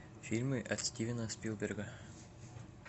фильмы от стивена спилберга